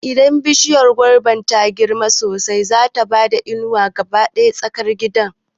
Idan bishiya gobar ta girma sosai, zata bada inuwa ga duka tsakar gidan